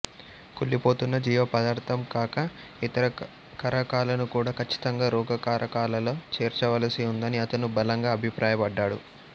కుళ్ళిపోతున్న జీవ పదార్థం కాక ఇతర కారకాలను కూడా కచ్చితంగా రోగకారకాలలో చేర్చవలసి ఉందని అతను బలంగా అభిప్రాయ పడ్డాడు